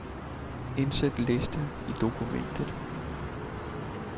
Indsæt liste i dokumentet.